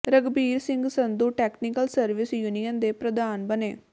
Raghbir Singh Sandhu technical service union ਦੇ ਪ੍ਰਧਾਨ ਬਣੇ